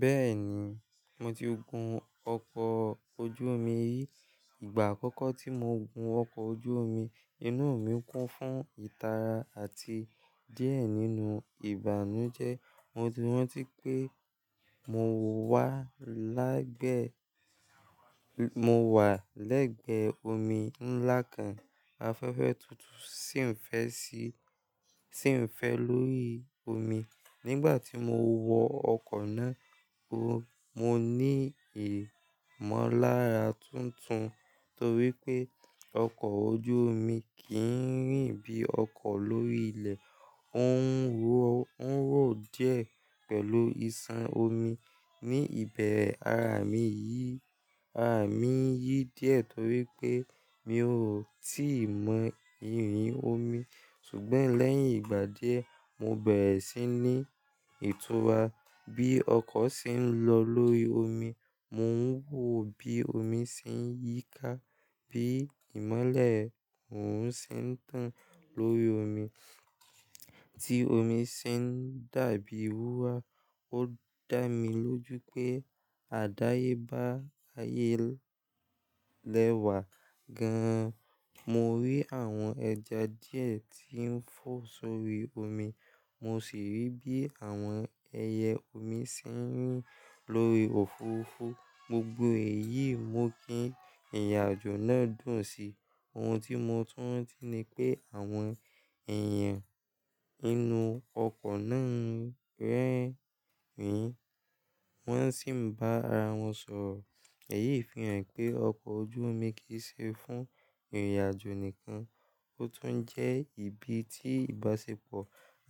Bẹ́ẹ̀ni, mo ti gun ọkọ̀ ojú irin rí. Ìgbà àkọ́kọ́ tí mo gun ọkọ̀ ojú irin, inú mi kún fún ìtara àti díẹ̀ nínú ìbànújẹ́. Mo ti rántí pé mo wà lẹ́gbẹ omi ńlá kan, afẹ́fẹ́ tútù sì ń fẹ́ lórí omi. Nígbà tí mo wọ ọkọ̀ náà kúrò, mo ní ìmọ̀lára tuntun torí pé ọkọ̀ ojú omi kìí rìn bí ọkọ̀ lórí ilẹ̀, ó ń wò o nwo díẹ̀ pẹ̀lú ìsàn omi. Ní ìbẹ̀rẹ̀, ara mi yìí ara mi yìí díẹ̀ torí pé mi ò tí ì mọ ìrìn omi. Ṣùgbọ́n lẹ́ yìn ìgbà díẹ̀ mo bẹ̀rẹ̀ sí ní ìtura bí ọkọ̀ ṣe ń lọ lórí omi mo ń wo bí omi ṣe ń yí ká bí ìmọ́lẹ̀ orun ṣe ń tàn lórí omi tí omi ṣe ń dà bí wúrà ó dá mi lójú pé àdáyébá ayé lẹ́wà gan-an. Mo rí àwọn ẹja díẹ̀ tí ń fò sórí omi, mo sì rí bí àwọn ẹyẹ omi ṣe ń rìn lórí òfuurufú. Gbogbo èyí mú kí ìrìnàjò náà dùn sí i. Ohun tí mo tún rántí ni pé àwọn èèyàn inú ọkọ̀ náà ń rẹ́rìn-ín, wọ́n sì ń bá ara wọn sọ̀rọ̀. Ẹ̀yí fi hàn pé ọkọ̀ ojú omi kì í ṣe fún ìrìnàjò nìkan, ó tún jẹ́ ibi tí ìbáṣepọ̀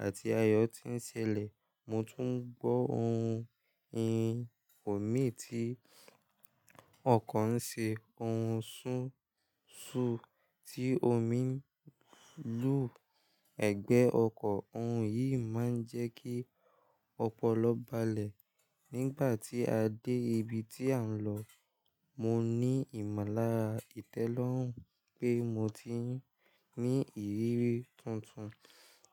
àti ayọ̀ ti ń ṣẹlẹ̀. Mo tún gbọ́ ohun ìrìn omi tí ọkọ̀ ń ṣe, ohun súnsú tí omi ń lù ẹgbẹ́ ọkọ̀. Ohun yìí máa ń jẹ́ kí ọpọlọ balẹ̀. Nígbà tí a dé ibi tí à ń lọ, mo ní ìmọ̀lára ìtẹ́lọ́rùn pé mo ti ní ìrírí tuntun.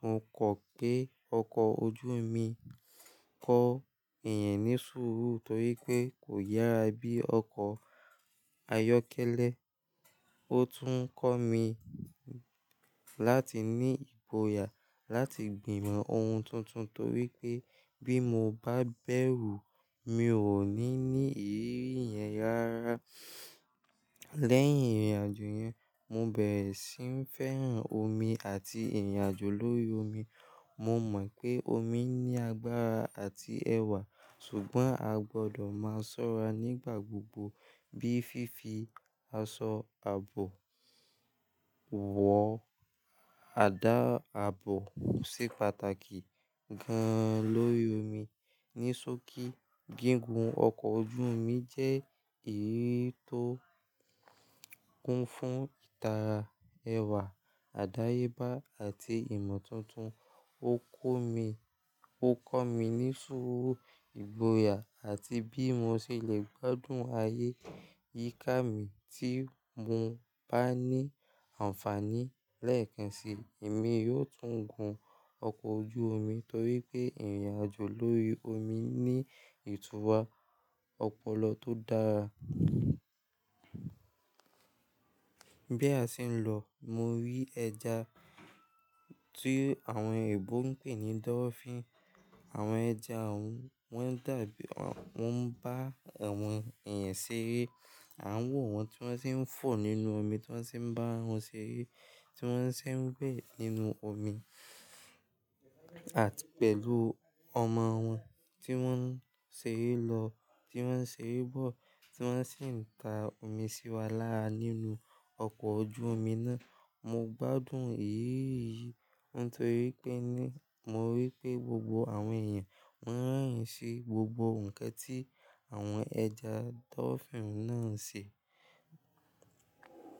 Mo kọ́ pé ọkọ̀ ojú omi kọ́ èèyàn ní súúrú torí pé kò yára bí ọkọ̀ ayọ́kẹ́lẹ́. Ó tún kọ́ mi láti ní ìgbòyà láti gbìmọ̀ ohun tuntun torí pé bí mo bá bẹ̀rù, mi ò ní ní ìrírí yẹn rárá. Lẹ́yìn ìrìnàjò yẹn, mo bẹ̀rẹ̀ sí í fẹ́ràn omi àti ìrìnàjò lórí omi. Mo mọ̀ pé omi ní agbára àti ẹwà, ṣùgbọ́n a gbọdọ̀ máa ṣọ́ra nígbà gbogbo bí fi fi aṣọ ààbò wọ àdá ààbò ṣe pàtàkì gan-an lórí omi. Níṣókí, gígùn ọkọ̀ ojú omi jẹ́ èyí tó kún fún ìtara, ẹwà, àdáyébá àti ìmọ̀ tuntun. Ó kọ́ mi ní súúrú, ìgbọ̀yà àti bí mo ṣe lè gbádùn ayé yíká mi tí mo bá ní àǹfààní. Lẹ́ẹ̀kan sí, èmi yóò tún gun ọkọ̀ ojú omi torí pé ìrìnàjò lórí omi ní ìtura ọpọlọ tó dára. Bí a ṣe ń lọ, mo rí ẹja tí àwọn èèbó ń pè ní dolphin. Àwọn ẹja òun, wọ́n dàbí, wọ́n ń bá àwọn èèyàn ṣeré. A ń wò wọ́n tí wọ́n sì ń fò nínú omi, tí wọ́n sì ń bá wọn ṣeré, tí wọ́n ṣe ń wẹ̀ nínú omi àti pẹ̀lú ọmọ wọn tí wọ́n ń ṣeré lọ, tí wọ́n ń ṣeré bọ̀, tí wọ́n sì ń ta omi sí wa lára nínú ọkọ̀ ojú omi náà. Mo gbádùn ìrírí yìí nítorí pé mo rí pé gbogbo àwọn èèyàn wọ́n ń rẹ́rìn-ín sí gbogbo nǹkan tí àwọn ẹja dolphin náà ń ṣe.